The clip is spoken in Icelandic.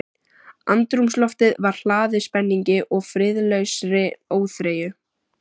Andrúmsloftið var hlaðið spenningi- og friðlausri óþreyju.